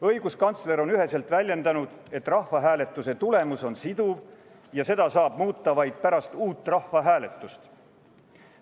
Õiguskantsler on üheselt väljendanud, et rahvahääletuse tulemus on siduv ja seda saab muuta vaid pärast uut rahvahääletust.